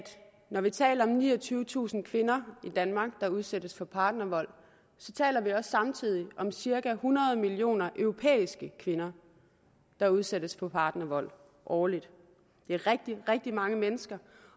når vi taler om niogtyvetusind kvinder i danmark der udsættes for partnervold taler vi også samtidig om cirka hundrede millioner europæiske kvinder der udsættes for partnervold årligt det er rigtig rigtig mange mennesker